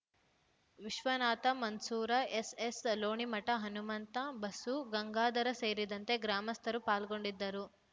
ವಿಶ್ವನಾಥ ಮನ್ಸೂರ ಎಸ್ಎಸ್ಲೋಣಿಮಠ ಹನಮಂತ ಬಸು ಗಂಗಾಧರ ಸೇರಿದಂತೆ ಗ್ರಾಮಸ್ಥರು ಪಾಲ್ಗೊಂಡಿದ್ದರು